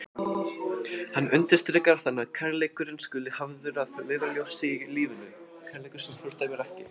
Aldrei áður hafði hann fundið það jafn greinilega hve gamall hann var.